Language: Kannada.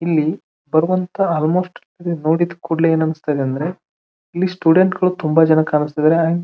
ಇಲ್ಲಿ ಬರುವಂತ ಆಲ್ ಮೋಸ್ಟ ಈದ್ ನೋಡಿದ್ ಕುಡ್ಲೆ ಏನ್ ಅನ್ನಸುತ್ತೆ ಅಂದ್ರೆ ಇಲ್ಲಿ ಸ್ಟೂಡೆಂಟ್ ಗಳು ತುಂಬಾ ಜನ ಕಾಣಸ್ ತಿದ್ದರೆ ಆಂಡ್ --